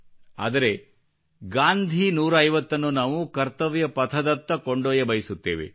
ಆದರೆ ಗಾಂಧಿ 150 ನ್ನು ನಾವು ಕರ್ತವ್ಯ ಪಥದತ್ತ ಕೊಂಡೊಯ್ಯಬಯಸುತ್ತೇವೆ